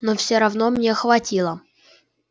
но всё равно мне хватило